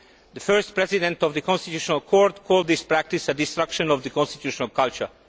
The first president of the constitutional court called this practice a destruction of the constitutional culture.